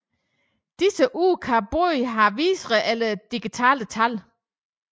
Disse kan ure kan både have visere eller digitale tal